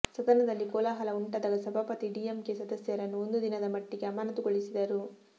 ಸದನದಲ್ಲಿ ಕೋಲಾಹಲ ಉಂಟಾದಾಗ ಸಭಾಪತಿ ಡಿಎಂಕೆ ಸದಸ್ಯರನ್ನು ಒಂದು ದಿನದ ಮಟ್ಟಿಗೆ ಅಮಾನತುಗೊಳಿಸಿದರು